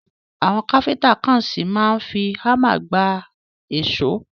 Àwọn Káfíntà kan ṣì máa ń fi hámà gba èṣó.